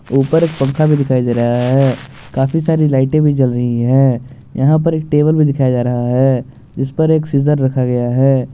ऊपर पंखा भी दिखाई दे रहा है काफी सारी लाइटे भी जल रही है यहां पर एक टेबल में दिखाया जा रहा है इस पर एक सीजर रखा गया है।